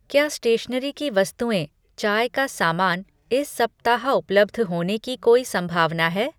क्या स्टेशनरी की वस्तुएँ, चाय का सामान इस सप्ताह उपलब्ध होने की कोई संभावना है?